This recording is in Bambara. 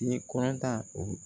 I ye kɔrɔtan o